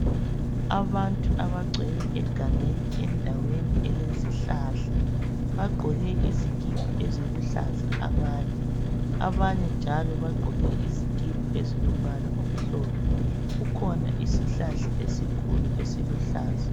Abantu abagcwele egangeni endaweni elezihlahla. Bagqoke izikipa eziluhlaza abanye. Abanye njalo bagqoke isikipa ezilo mbala omhlophe. Kukhona isihlahla esikhulu esiluhlaza.